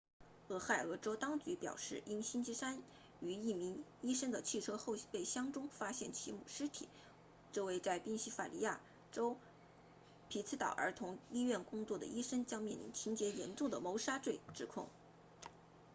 俄亥俄州当局表示因星期三于一名医生的汽车后备箱中发现其母尸体这位在宾夕法尼亚州匹兹堡儿童医院工作的医生将面临情节严重的谋杀罪指控